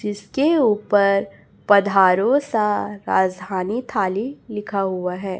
जिसके ऊपर पधारो सा राजधानी थाली लिखा हुआ है।